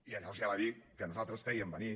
i llavors ja va dir que nosaltres fèiem venir